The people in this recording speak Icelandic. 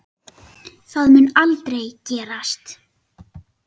Það mun aldrei gerast.